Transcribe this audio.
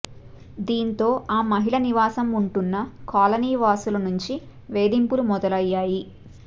దీంతో ఆ మహిళ నివాసం ఉంటున్న కాలనీవాసుల నుంచి వేధింపులు మొదలయ్యాయి